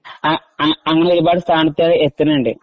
അങ്ങിനെ ഒരുപാട് സ്ഥാനത്തു എത്തുന്നുണ്ട്.